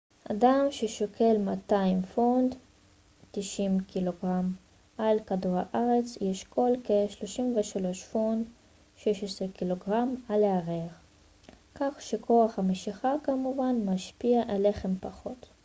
"אדם ששוקל 200 פאונד 90 ק""ג על כדור הארץ ישקול כ-36 פאונד 16 ק""ג על הירח. כך שכוח המשיכה כמובן משפיע עליכם פחות.